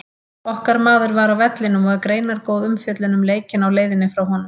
Okkar maður var á vellinum og er greinargóð umfjöllun um leikinn á leiðinni frá honum.